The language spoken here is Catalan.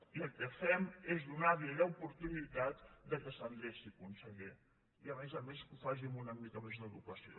i el que fem és donar·li l’oportunitat que s’endreci conseller i a més a més que ho faci amb una mica més d’educació